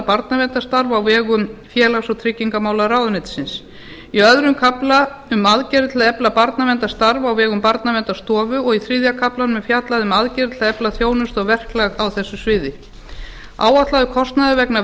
barnaverndarstarf á vegum félags og tryggingamálaráðuneytisins í öðrum kafla um aðgerðir til að efla barnaverndarstarf á vegum barnaverndarstofu og í þriðja kaflanum er fjallað um aðgerðir til að efla þjónustu og verklag á þessu sviði áætlaður kostnaður vegna